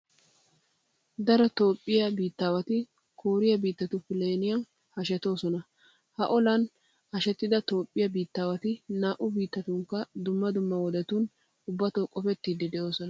Daro toophphiya biittaawati kooriya biittatu plan hashetidoson. Ha olan hashetida toophphiya biittaawati naa"u biittatunkka dumm dumma wodetun ubbatoo qofettiiddi de'oosona.